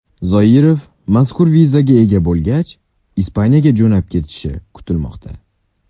Zoirov mazkur vizaga ega bo‘lgach, Ispaniyaga jo‘nab ketishi kutilmoqda.